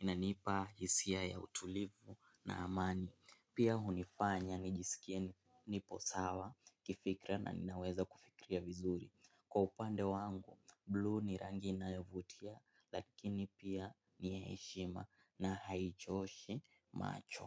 inanipa hisia ya utulivu na amani. Pia hunifanya nijisikie niposawa kifikra na ninaweza kufikiria vizuri. Kwa upande wangu, blue ni rangi inayo vutia lakini pia ni ya heshima na haichoshi macho.